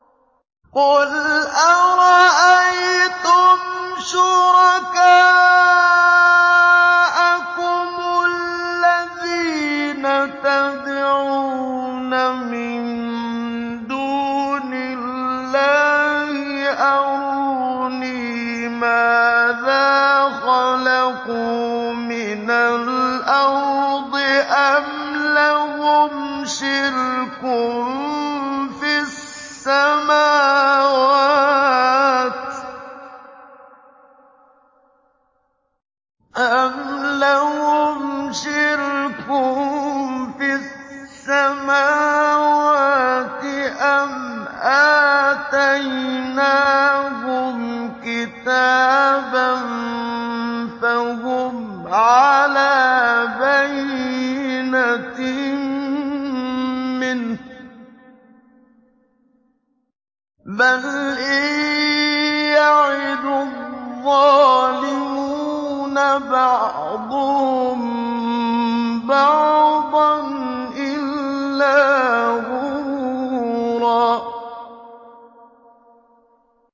قُلْ أَرَأَيْتُمْ شُرَكَاءَكُمُ الَّذِينَ تَدْعُونَ مِن دُونِ اللَّهِ أَرُونِي مَاذَا خَلَقُوا مِنَ الْأَرْضِ أَمْ لَهُمْ شِرْكٌ فِي السَّمَاوَاتِ أَمْ آتَيْنَاهُمْ كِتَابًا فَهُمْ عَلَىٰ بَيِّنَتٍ مِّنْهُ ۚ بَلْ إِن يَعِدُ الظَّالِمُونَ بَعْضُهُم بَعْضًا إِلَّا غُرُورًا